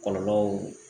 Kɔlɔlɔw